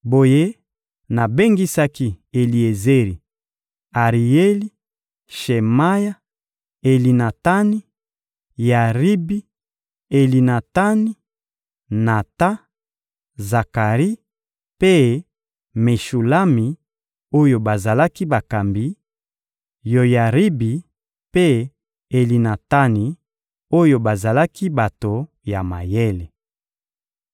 Boye nabengisaki Eliezeri, Arieli, Shemaya, Elinatani, Yaribi, Elinatani, Natan, Zakari mpe Meshulami oyo bazalaki bakambi; Yoyaribi mpe Elinatani oyo bazalaki bato ya mayele.